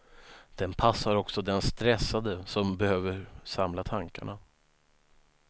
Den passar också den stressade som behöver samla tankarna.